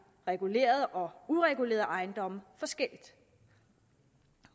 regulerede og uregulerede ejendomme forskelligt